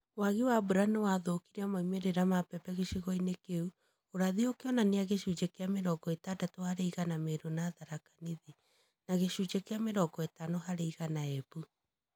Wagi wa mbura nĩwathũkirie maumĩrĩra ma mbembe gĩcigo-inĩ kĩu, ũrathi ũkĩonania gĩcunjĩ kĩa mĩrongo itandatũ harĩ igana Meru na Tharaka Nithi, na gĩcunjĩ kĩa mĩrongo ĩtano harĩ igana Embu